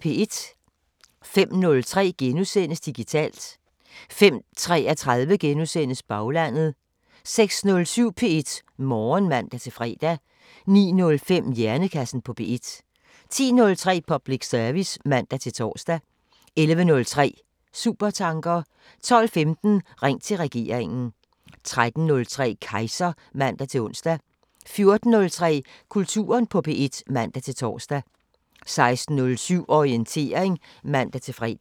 05:03: Digitalt * 05:33: Baglandet * 06:07: P1 Morgen (man-fre) 09:05: Hjernekassen på P1 10:03: Public service (man-tor) 11:03: Supertanker 12:15: Ring til regeringen 13:03: Kejser (man-ons) 14:03: Kulturen på P1 (man-tor) 16:07: Orientering (man-fre)